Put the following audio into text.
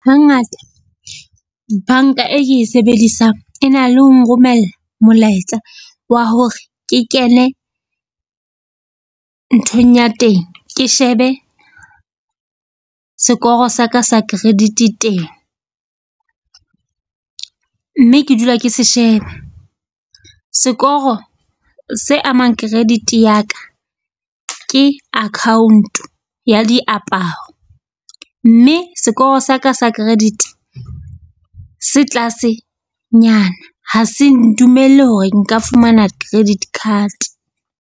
Hangata banka e ke e sebedisang e na le ho nromella molaetsa wa hore ke kene nthong ya teng, ke shebe sekoro sa ka sa credit-e teng. Mme ke dula ke se sheba, sekoro se amang credit ya ka ke account ya diaparo ao. Mme sekoro sa ka sa credit se tlase nyana ha se ntumelle hore nka fumana credit card.